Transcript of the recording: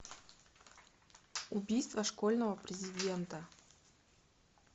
убийство школьного президента